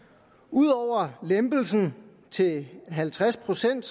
ud over lempelsen til halvtreds procent